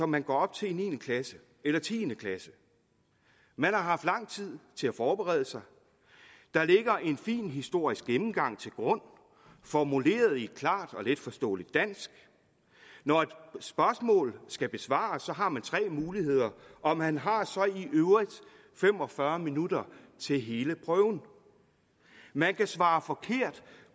man går op til i niende klasse eller tiende klasse man har haft lang tid til at forberede sig der ligger en fin historisk gennemgang til grund formuleret på et klart og letforståeligt dansk når et spørgsmål skal besvares har man tre muligheder og man har så i øvrigt fem og fyrre minutter til hele prøven man kan svare forkert